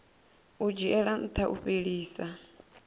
u dzhiela ntha u fhelisa